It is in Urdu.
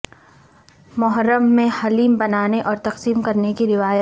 محرم میں حلیم بنانے اور تقسیم کرنے کی روایت